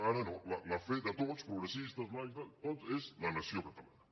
ara no la fe de tots progressistes laics de tots és la nació catalana